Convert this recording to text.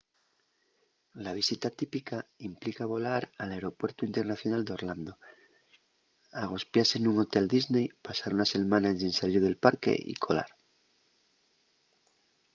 la visita típica” implica volar al aeropuertu internacional d'orlando agospiase nun hotel disney pasar una selmana ensin salir del parque y colar